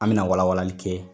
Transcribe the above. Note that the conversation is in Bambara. An bɛ na wala walali kɛ.